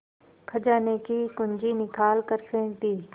खजाने की कुन्जी निकाल कर फेंक दी